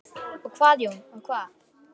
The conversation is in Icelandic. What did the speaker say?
Og hvað Jón, og hvað?